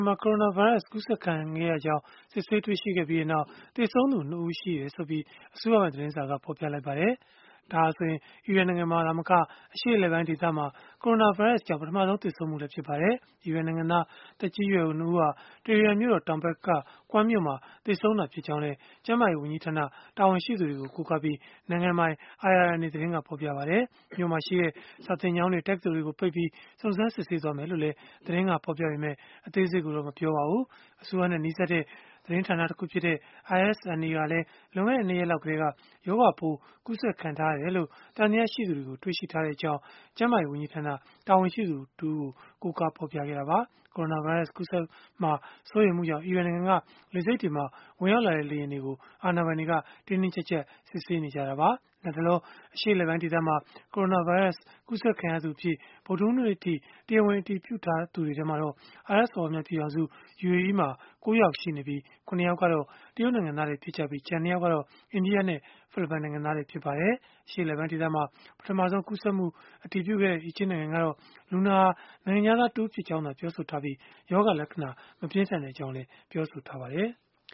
မှာ ကိုရိုနာဗိုင်းရပ်စ် ကူးစက်ခံနေရကြောင်း စစ်ဆေးတွေ့ရှိခဲ့ပြီးနောက် သေဆုံးသူ ၂ ဦးရှိကြောင်း အစိုးရပိုင် သတင်းစာက ဖော်ပြလိုက်ပါတယ်။ ဒါဟာဆိုရင် အီရန်နိုင်ငံမှာ သာမက အရှေ့အလယ်ပိုင်းဒေသမှာ ကိုရိုနာဗိုင်းရပ်စ်ကြောင့် ပထမဆုံး သေဆုံးမှုလည်း ဖြစ်ပါတယ်။ အီရန်နိုင်ငံသား သက်ကြီးရွယ်အို ၂ ဦးဟာ တီဟီရန်မြို့တော် တောင်ဘက်က Qom မြို့မှာ သေဆုံးခဲ့တာ ဖြစ်ကြောင်းလည်း ကျန်းမာရေး ဝန်ကြီးဌာန တာဝန်ရှိသူတွေကို ကိုးကားပြီး နိုင်ငံပိုင် IRNA သတင်းက ဖော်ပြခဲ့ပါတယ်။ မြို့မှာရှိတဲ့ စာသင်ကျောင်းတွေ၊ တက္ကသိုလ်တွေကို ပိတ်ပြီး စုံစမ်းစစ်ဆေးသွားမှာ ဖြစ်ကြောင်းလည်း သတင်းက ဖော်ပြပေမယ့် အသေးစိတ်ကိုတော့ မပြောပါဘူး။ အစိုးရနဲ့ နီးစပ်တဲ့ သတင်းဌာန တခုဖြစ်တဲ့ ISNA ကလည်း လွန်ခဲ့တဲ့ ၂ ရက်လောက်ကတည်းက ရောဂါပိုးကူးစက်ခံထားရတယ်လို့ သံသယ ရှိသူတွေကို တွေ့ရှိထားကြောင်း ကျန်းမာရေးဝန်ကြီးဌာန တာဝန်ရှိသူတဦးကို ကိုးကားဖော်ပြခဲ့တာပါ။ ကိုရိုနာဗိုင်းရပ်စ် ကူးစက်မှာ စိုးရိမ်မှုကြောင့် အီရန်နိုင်ငံက လေဆိပ်တွေမှာ ဝင်ရောက်လာတဲ့ လေယာဉ်တွေကို အာဏာပိုင်တွေက တင်းတင်းကျပ်ကျပ် စစ်ဆေးနေကြတာပါ။ လတ်တလော အရှေ့အလယ်ပိုင်းဒေသမှာ ကိုရိုနာဗိုင်းရပ်စ် ကူးစက်ခံရသူအဖြစ် ဗုဒ္ဓဟူးနေ့အထိ တရားဝင် အတည်ပြုထားသူတွေ ထဲမှာတော့ အာရပ်စော်ဘွားများပြည်ထောင်စု (UAE) မှာ ၉ ယောက် ရှိနေပြီး၊ ၇ ယောက်ကတော့ တရုတ်နိုင်ငံသားတွေ ဖြစ်ကြပြီး၊ ကျန် ၂ ယောက်ကတော့ အိန္ဒိယနဲ့ ဖိလစ်ပိုင်နိုင်ငံသားတွေ ဖြစ်ကြပါတယ်။ အရှေ့အလယ်ပိုင်းဒေသမှာ ပထမဆုံး ကူးစက်မှုကို အတည်ပြုခဲ့တဲ့ အီဂျစ်နိုင်ငံကတော့ လူနာဟာ နိုင်ငံခြားသားတဦးဖြစ်ကြောင်းသာ ပြောဆိုထားပြီး၊ ရောဂါလက္ခဏာ မပြင်းထန်ကြောင်း ပြောဆိုထားပါတယ်။